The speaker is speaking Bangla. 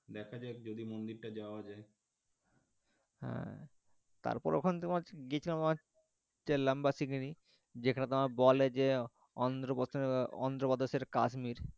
দেখা যাক যদি মন্দির টা যাওয়া যায় আহ তারপর ওখানে তোমার যেখানে তোমার বলে যে অন্ধ্রপ্রদেশের কাশ্মীর,